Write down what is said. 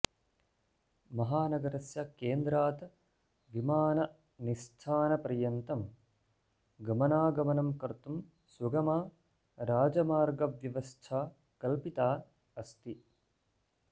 महानगरस्य केन्द्रात् विमाननिस्थानपर्यन्तं गमनागमनं कर्तुं सुगमा राजमार्गव्यवस्था कल्पिता अस्ति